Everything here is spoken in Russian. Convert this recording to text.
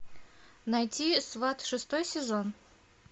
найти сваты шестой сезон